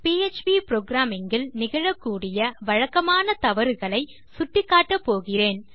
PHP programming இல் நிகழக்கூடிய வழக்கமான தவறுகளை சுட்டிக்காட்டப்போகிறேன்